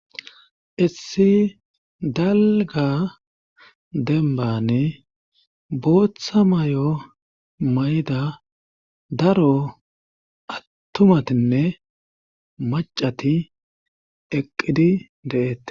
issi dalga dembane booththa may7o mayda daro attumatinne macati eqqidi de7eette